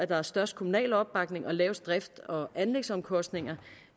der er størst kommunal opbakning og laveste drifts og anlægsomkostninger